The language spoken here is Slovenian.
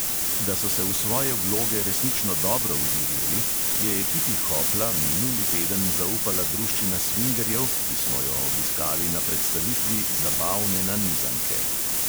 Da so se v svoje vloge resnično dobro vživeli, je ekipi hopla minuli teden zaupala druščina svingerjev, ki smo jo obiskali na predstavitvi zabavne nanizanke.